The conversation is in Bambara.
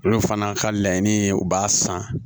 Olu fana ka laɲini ye u b'a san